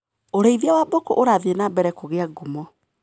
ũrĩithia wa mbũkũ ũrathi nambere kũgia ngumo.